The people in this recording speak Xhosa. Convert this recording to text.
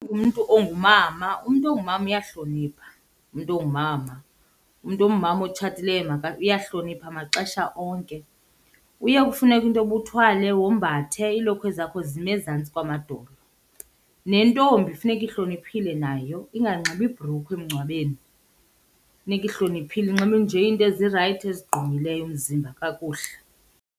Umntu ongumama. Umntu ongumama, uyahlonipha umntu ongumama. Umntu ongumama otshatileyo uyahlonipha maxesha onke. Kuye kufuneke into yoba uthwale, wombathe, iilokhwe zakho zime ezantsi kwamadolo. Nentombi funeka ihloniphile nayo inganxibi ibhrukhwe emngcwabeni, funeka ihloniphile inxibe nje into ezirayithi ezigqumileyo umzimba kakuhle.